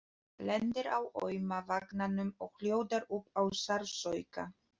Lendir á auma vanganum og hljóðar upp af sársauka.